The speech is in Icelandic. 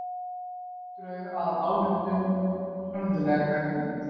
Drög að ályktun harðlega gagnrýnd